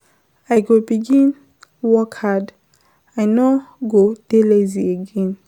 I go begin work hard, I no go dey lazy again.